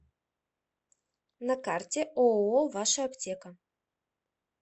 на карте ооо ваша аптека